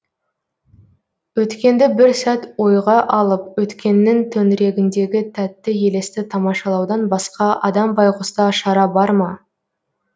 өткенді бір сәт ойға алып өткеннің төңірегіндегі тәтті елесті тамашалаудан басқа адам байғұста шара бар ма